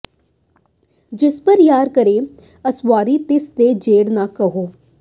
ਜਿਸ ਪਰ ਯਾਰ ਕਰੇ ਅਸਵਾਰੀ ਤਿਸ ਦੇ ਜੇਡ ਨਾ ਕੋਈ